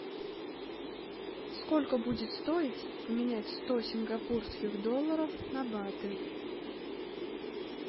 сколько будет стоить поменять сто сингапурских долларов на баты